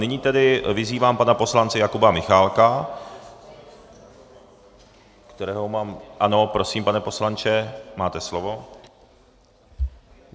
Nyní tedy vyzývám pana poslance Jakuba Michálka, kterého mám - ano, prosím, pane poslanče, máte slovo.